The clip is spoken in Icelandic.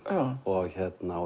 og hérna